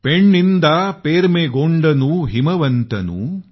पैन्निदा पर्मेगोंडनु हिमावंतनु